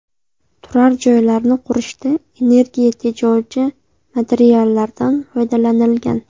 Turar joylarni qurishda energiya tejovchi materiallardan foydalanilgan.